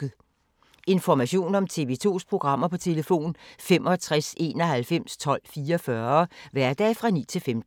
Information om TV 2's programmer: 65 91 12 44, hverdage 9-15.